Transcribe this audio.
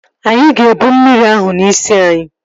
Anyị ga-ebụ mmiri ahụ n'isi anyị